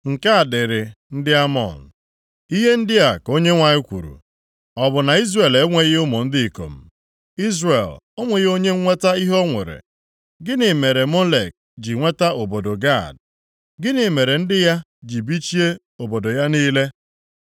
Nke a dịrị ndị Amọn: Ihe ndị a ka Onyenwe anyị kwuru, “Ọ bụ na Izrel enweghị ụmụ ndị ikom? Izrel o nweghị onye nnweta ihe o nwere? Gịnị mere Molek ji nweta obodo Gad? Gịnị mere ndị ya ji bichie obodo ya niile?